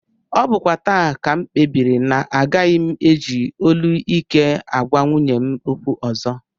Ọ bụkwa taa ka m kpebiri na agaghị m eji olu ike agwa nwunye m okwu ọzọ